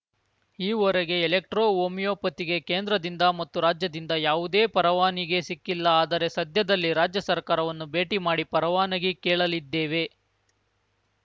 ಈವರೆಗೆ ಎಲೆಕ್ಟ್ರೋ ಹೋಮಿಯೋಪತಿಗೆ ಕೇಂದ್ರದಿಂದ ಮತ್ತು ರಾಜ್ಯದಿಂದ ಯಾವುದೇ ಪರವಾನಿಗೆ ಸಿಕ್ಕಿಲ್ಲ ಆದರೆ ಸದ್ಯದಲ್ಲಿ ರಾಜ್ಯ ಸರ್ಕಾರವನ್ನು ಭೇಟಿ ಮಾಡಿ ಪರವಾನಗಿ ಕೇಳಲಿದ್ದೇವೆ